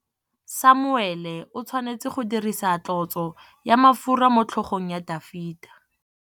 Samuele o tshwanetse go dirisa tlotsô ya mafura motlhôgong ya Dafita.